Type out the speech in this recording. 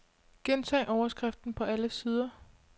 Gentag overskriften på alle sider.